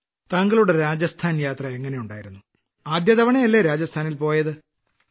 താങ്കളുടെ രാജസ്ഥാൻ യാത്ര എങ്ങിനെയുണ്ടായിരുന്നു ആദ്യ തവണയല്ലേ രാജസ്ഥാനിൽ പോയത്